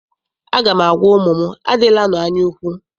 Aga m agwa ụmụ m, adịlanụ anyaukwu!